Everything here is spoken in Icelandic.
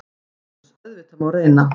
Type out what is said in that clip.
SOPHUS: Auðvitað má reyna.